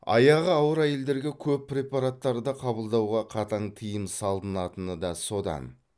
аяғы ауыр әйелдерге көп препараттарды қабылдауға қатаң тыйым салынатыны да содан